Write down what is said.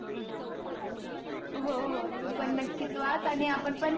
हो हो तू पन नक्कीच वाच आणि आपण पण